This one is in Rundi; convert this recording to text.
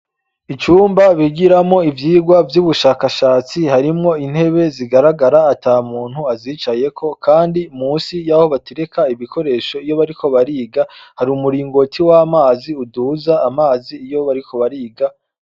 Icumba bigiramwo ivyigwa vy'ubushakashatsi. Harimwo intebe zigaragara ata muntu azicayeko, kandi munsi y'aho batereka ibikoresho, iyo bariko bariga, hari umuringoti w'amazi uduza amazi iyo bariko bariga.